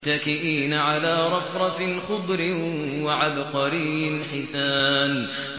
مُتَّكِئِينَ عَلَىٰ رَفْرَفٍ خُضْرٍ وَعَبْقَرِيٍّ حِسَانٍ